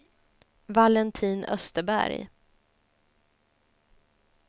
Valentin Österberg